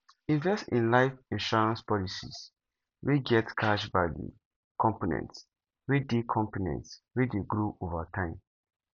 invest in life insurance policies wey get cash value components wey de components wey de grow over time